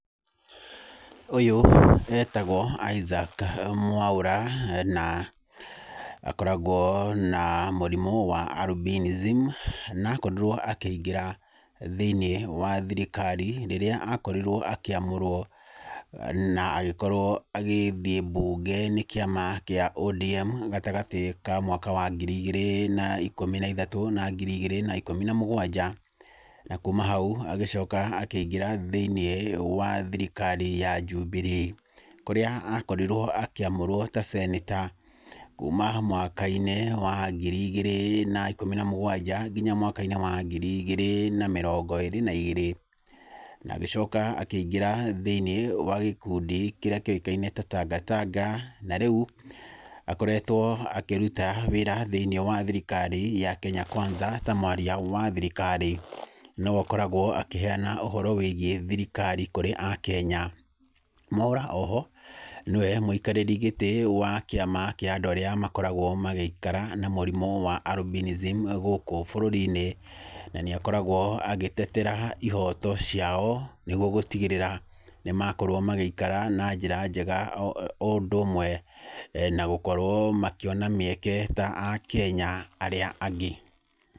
Ũyũ etagwo Isaac Mwaura na akoragwo na mũrimũ wa albinism, na akorirwo akĩingira thĩini wa thirikari rĩrĩa akorirwo akĩamũrwo na agĩkorwo agĩthiĩ mbunge nĩ kĩama kĩa ODM gatagatĩ ka mwaka wa ngiri igĩrĩ na ikũmi na ithatũ na ngiri ĩgĩrĩ na ikũmi na mũgwanja, na kũma hau agĩcoka akĩingĩra thĩinĩ wa thirikari ya Jubilee. Kũrĩa akorirwo akĩamũrwo ta seneta kũma mwaka-inĩ wa ngiri igĩrĩ na ikũmi na mũgwanja nginya mwaka-inĩ wa ngiri igĩrĩ na mĩrongo ĩrĩ na igĩrĩ, na agĩcoka akĩingira thĩiniĩ wa gĩkũndi kĩrĩa kĩoĩkaine ta Tanga Tanga, na rĩu akoretwo akĩruta wĩra thĩiniĩ wa thirikari ya Kenya Kwanza ta mwaria wa thirikari, nĩwe ũkoragwo akĩheana ũhoro wĩgiĩ thirikari kũrĩ akenya. Mwaura oho, nĩwe mũikarĩri gĩtĩ wa kĩama kĩa andũ arĩa makoragwo magĩikara na mũrimu wa albinism gũkũ bũrũri-inĩ na nĩakoragwo agĩtetera ihoto ciao nĩguo gũtigĩrĩra nĩ makorwo magĩikara na njĩra njega o ũndũ ũmwe na gũkorwo makiona mĩeke ta akenya arĩa angĩ.